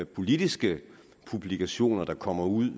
politiske publikationer der kommer ud